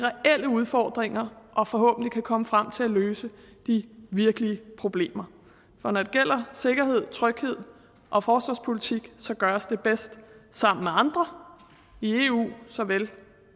reelle udfordringer og forhåbentlig kan komme frem til at løse de virkelige problemer for når det gælder sikkerhed tryghed og forsvarspolitik gøres det bedst sammen med andre i eu såvel